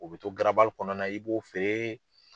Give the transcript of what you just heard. U bɛ to garabali kɔnɔna i b'o feere.